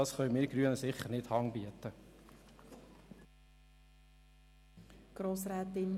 Dafür können wir Grünen sicher nicht Hand bieten.